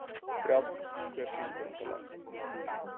Brjánn, hver syngur þetta lag?